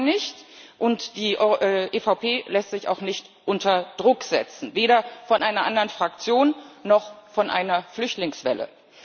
Das tut man nicht, und die EVP lässt sich auch nicht unter Druck setzen, weder von einer anderen Fraktion noch von einer Flüchtlingswelle.